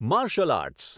martial arts